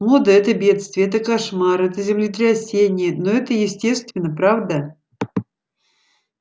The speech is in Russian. мода это бедствие это кошмар это землетрясение но это естественно правда